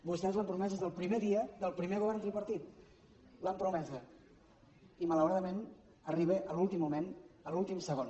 vostès l’han promesa des del primer dia del primer govern tripartit l’han promesa i malauradament arriba a l’últim moment a l’últim segon